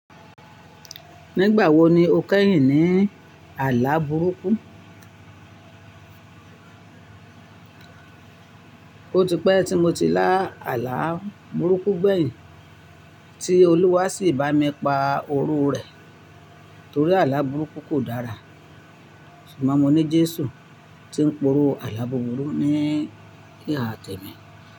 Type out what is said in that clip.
Nígbà wo ni o kẹ́yìn ní àlá burúkú? Ó ti pẹ́ tí mo ti lá àlá burúkú gbẹ̀yìn, tí Olúwa sì bá mi pa oró rẹ̀ torí àlá burúkú kò dára. Ṣùgbọ́n mo ní Jésù tí ń poró àlá burúkú ní ìhà tẹ̀mi.